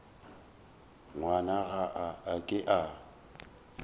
ngwana ga a ke a